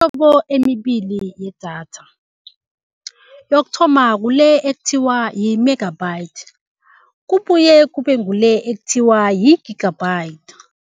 Kunemihlobo emibili yedatha, yokuthoma kule ekuthiwa yi-megabyte, kubuye kube ngule ekuthiwa yi-gigabyte.